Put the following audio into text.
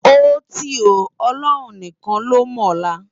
Óti ó, Òlòrún nikán ló mòlá